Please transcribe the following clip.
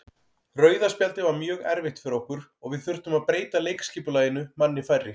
Rauða spjaldið var mjög erfitt fyrir okkur og við þurftum að breyta leikskipulaginu manni færri.